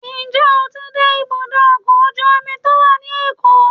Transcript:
njẹ o tí dé ibudọ ọkọ ojú omí to wa ní Èko?